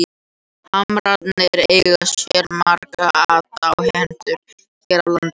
Hamrarnir eiga sér marga aðdáendur hér á landi.